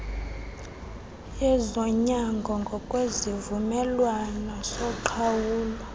yezonyango ngokwesivumelwano soqhawulo